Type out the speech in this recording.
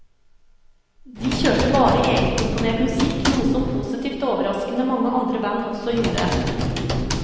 De kjørte bare egenkomponert musikk, noe som positivt overraskende mange andre band også gjorde.